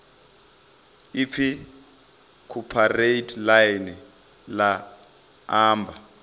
ipfi cooperate ḽine ḽa amba